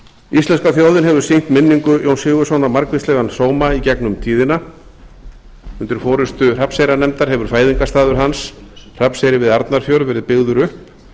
íslenska þjóðin hefur sýnt minningu jóns sigurðssonar margvíslegan sóma í gegnum tíðina undir forustu hrafnseyrarnefndar hefur fæðingarstaður hans hrafnseyri við arnarfjörð verið byggður upp